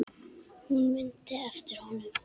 Hún mundi eftir honum.